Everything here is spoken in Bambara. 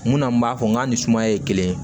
Munna n b'a fɔ n k'a ni sumaya ye kelen ye